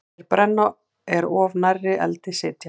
Þeir brenna er of nærri eldi sitja.